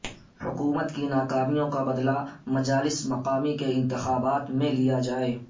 حکومت کی ناکامیوں کا بدلہ مجالس مقامی کے انتخابات میں لیا جائے